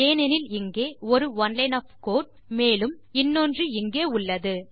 ஏனெனில் இங்கே ஒரு ஒனே லைன் ஒஃப் கோடு மேலும் இன்னொன்று இங்கே உள்ளது